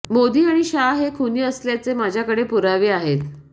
मोदी आणि शाह हे खुनी असल्याचे माझ्याकडे पुरावे आहेत